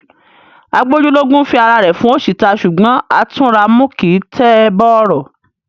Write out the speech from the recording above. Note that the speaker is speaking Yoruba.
Agbójú lógún fi ará rẹ fun oṣi ta. Ṣugbọn Atunramu kii n tẹ bọrọ.